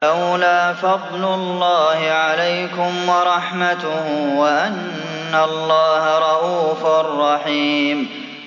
وَلَوْلَا فَضْلُ اللَّهِ عَلَيْكُمْ وَرَحْمَتُهُ وَأَنَّ اللَّهَ رَءُوفٌ رَّحِيمٌ